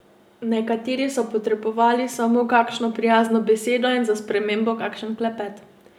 Nekateri so potrebovali samo kakšno prijazno besedo in za spremembo kakšen klepet.